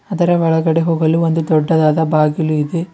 ಅದರ ಒಳಗಡೆ ಹೋಗಲು ಒಂದು ದೊಡ್ಡದಾದ ಬಾಗಿಲು ಇದೆ.